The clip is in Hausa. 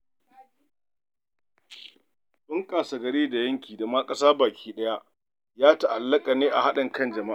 Bunƙasar gari da yanki da ma ƙasa baki ɗaya ya ta'allaƙa ne haɗin kan jama'a.